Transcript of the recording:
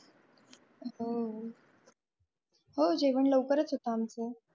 हो हो जेवण लवकर होतो आमचा.